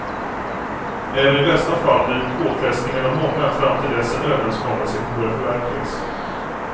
Även i bästa fall blir påfrestningarna många fram till dess en överenskommelse kan börja förverkligas.